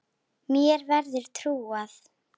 Mér verður trúað.